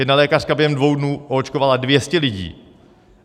Jedna lékařka během dvou dnů oočkovala 200 lidí.